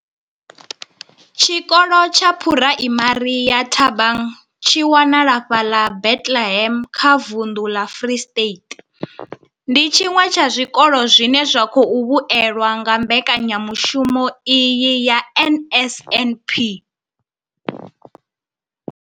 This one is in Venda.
Tshikolo tsha Phuraimari ya Thabang tshi wanalaho fhaḽa Bethlehem kha vunḓu ḽa Free State, ndi tshiṅwe tsha zwikolo zwine zwa khou vhuelwa nga mbekanyamushumo iyi ya NSNP.